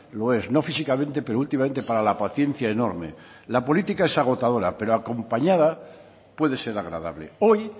lo es no físicamente pero últimamente para la paciencia enorme la política es agotadora pero acompañada puede ser agradable hoy